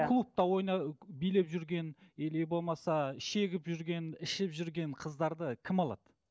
клубта ойна ы билеп жүрген или болмаса шегіп жүрген ішіп жүрген қыздарды кім алады